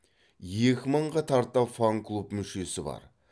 екі мыңға тарта фан клуб мүшесі бар